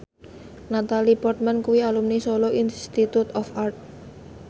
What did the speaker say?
Natalie Portman kuwi alumni Solo Institute of Art